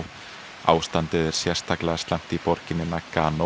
ástandið er sérstaklega slæmt í borginni